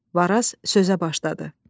Varaz sözə başladı.